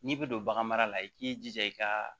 N'i bɛ don bagan mara la i k'i jija i ka